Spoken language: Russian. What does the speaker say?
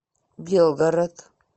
белгород